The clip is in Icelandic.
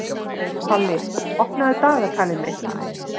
Palli, opnaðu dagatalið mitt.